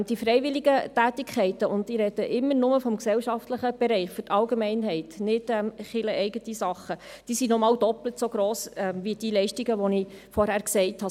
Die freiwilligen Tätigkeiten – und ich spreche hier nur von den gemeinnützigen Tätigkeiten, nicht von kircheninternen Aktivitäten – sind doppelt so gross wie die Leistungen, die ich vorhin genannt habe.